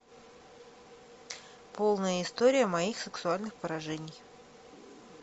полная история моих сексуальных поражений